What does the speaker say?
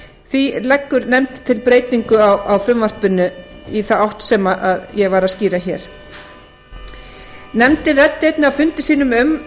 því leggur nefndin til breytingu á frumvarpinu í þá átt sem ég var að skýra þá ræddi nefndin á fundum sínum um